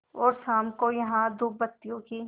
और शाम को यहाँ धूपबत्तियों की